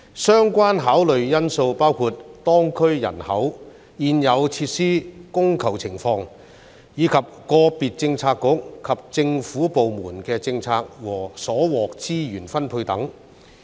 相關考慮因素包括當區人口、現有設施供求情況，以及個別政策局及政府部門的政策和所獲資源分配等。